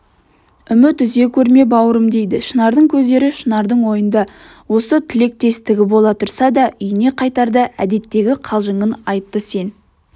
үміт үзе көрме бауырым дейді шынардың көздері шынардың ойында осы тілектестігі бола тұрса да үйіне қайтарда әдеттегі қалжыңын айттысен